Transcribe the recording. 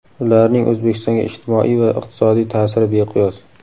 Ularning O‘zbekistonga ijtimoiy va iqtisodiy ta’siri beqiyos.